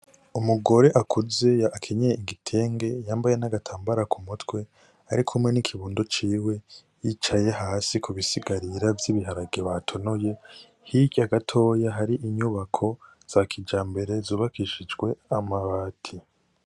Umugore akuze akenyeye igitenge yambaye n' agatambara kumutwe arikumwe n' ikibondo ciwe bicaye hasi ku bisigarira vy' ibiharage batonoye hirya gatoya hari inyubako za kijambere zubakishijwe amabati.